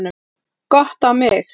Gott á mig.